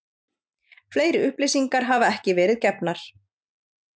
Fleiri upplýsingar hafa ekki verið gefnar